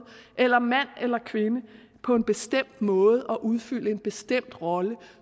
eller mand eller kvinde på en bestemt måde og udfylde en bestemt rolle